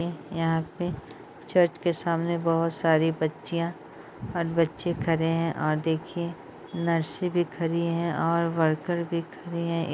यहाँ पे चर्च के सामने बहुत सारी बच्चियां और बच्चे खड़े हैं और देखिए नर्स भी खड़ी है और वर्कर भी खड़े हैं।